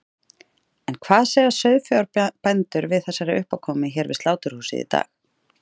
En hvað segja sauðfjárbændur við þessari uppákomu hér við sláturhúsið í dag?